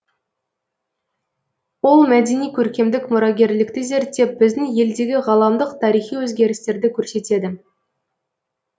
ол мәдени көркемдік мұрагерлікті зерттеп біздің елдегі ғаламдық тарихи өзгерістерді көрсетеді